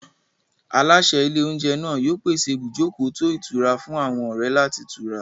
Aláṣẹ ilé-oúnjẹ náà yóò pèsè ibùjókòó tó ìtura fún àwọn ọ̀rẹ́ láti tura.